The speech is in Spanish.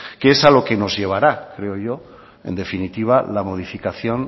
que es a lo que nos llevará creo yo en definitiva la modificación